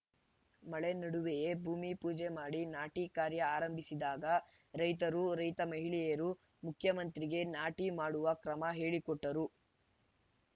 ಮಳೆ ನಡುವೆಯೇ ಭೂಮಿ ಪೂಜೆ ಮಾಡಿ ನಾಟಿ ಕಾರ್ಯ ಆರಂಭಿಸಿದಾಗ ರೈತರು ರೈತ ಮಹಿಳೆಯರು ಮುಖ್ಯಮಂತ್ರಿಗೆ ನಾಟಿ ಮಾಡುವ ಕ್ರಮ ಹೇಳಿಕೊಟ್ಟರು